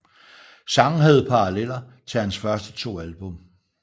Sangen havde paralleller til hans første to album